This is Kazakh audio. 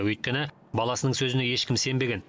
өйткені баласының сөзіне ешкім сенбеген